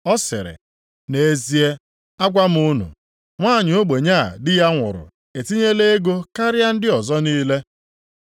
Ọ sịrị, “Nʼezie, agwa m unu, nwanyị ogbenye a di ya nwụrụ etinyela ego karịa ndị ọzọ niile.